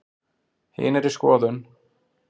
Hin er í skoðun.